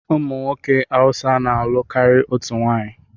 Ụmụ nwoke Awụsa na-alụ karịa otú nwanyị.